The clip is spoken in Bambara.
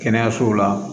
Kɛnɛyasow la